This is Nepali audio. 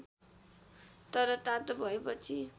तर तातो भएपछि